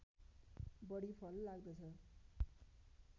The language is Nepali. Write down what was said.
बढी फल लाग्दछ